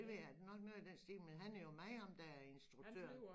Det ved jeg ikke nok noget i den stil men han er jo med ham der instruktøren